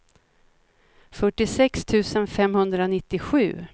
fyrtiosex tusen femhundranittiosju